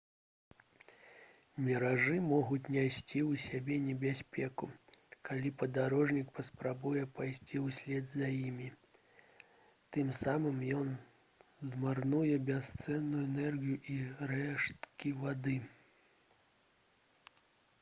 міражы могуць несці ў сабе небяспеку калі падарожнік паспрабуе пайсці ўслед за імі тым самым ён змарнуе бясцэнную энергію і рэшткі вады